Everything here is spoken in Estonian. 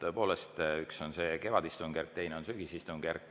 Tõepoolest, üks asi on see kevadistungjärk, teine asi on sügisistungjärk.